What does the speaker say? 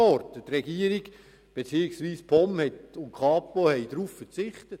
Die Regierung beziehungsweise die POM und die Kapo haben auf eine Beschaffung verzichtet.